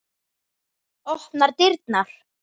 Opnar dyrnar.